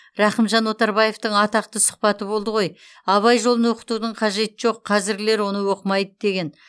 рақымжан отарбаевтың атақты сұхбаты болды ғой абай жолын оқытудың қажеті жоқ қазіргілер оны оқымайды деген